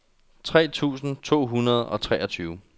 tres tusind to hundrede og treogtyve